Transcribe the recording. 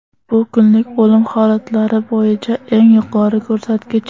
Bu kunlik o‘lim holatlari bo‘yicha eng yuqori ko‘rsatkich.